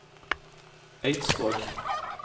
Eidsvåg